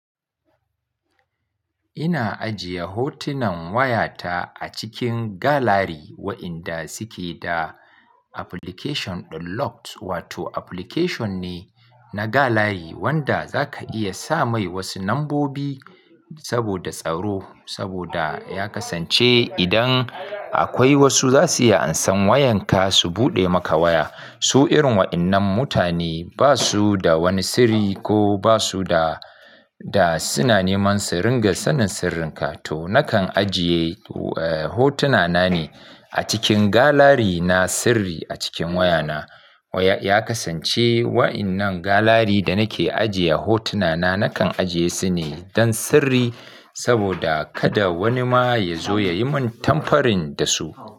Ina ajiye hotunan wayata a cikin galari waɗanda suke da application da lock wato application ne na galari wanda zaka iya sa mai wasu lambobi saboda tsaro saboda ya kasance idan akwai wasu zasu iya ansan wayan ka su buɗe maka waya. Su irin waɗannan mutane basu da wani sirri ko basu da, da suna neman sirrin ga sanin sirrinka to nakan ajiye, eh, hotunana ne a cikin galari na sirri a cikin wayana. Ya kasance waɗannan galari da nake ajiye hotuna na nakan ajiye su ne don sirri saboda kada wani ma ya zo ya yi min tampering da su.